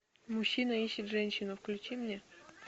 мужчина ищет женщину включи мне